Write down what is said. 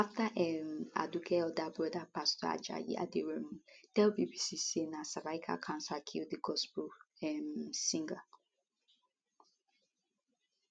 afta um aduke elder broda pastor ajayi aderounmu tell bbc say na cervical cancer kill di gospel um singer